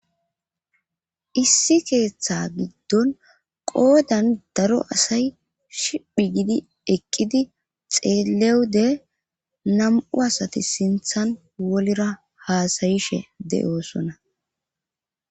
issi keeththa giddon qoodan daro asay shiphi gidi eqqidi xeelewude nam7u asati sinthan wolira haasayishe de7osona